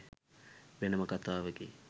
වෙනම කතාවකි